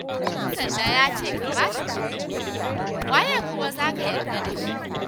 Ɗan sanda ya ce ka ba shi kuɗi, waye kuma za ka yarda da shi?